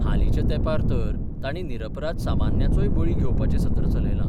हालींच्या तेंपार तर तांणी निरपराध सामन्यांचोय बळी घेवपाचें सत्र चलयलां.